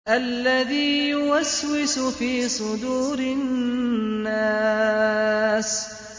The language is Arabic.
الَّذِي يُوَسْوِسُ فِي صُدُورِ النَّاسِ